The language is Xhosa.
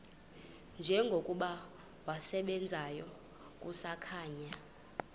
njengokuba wasebenzayo kusakhanya